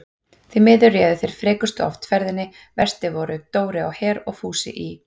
Því miður réðu þeir frekustu oft ferðinni, verstir voru Dóri á Her og Fúsi í